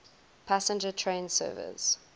passenger train service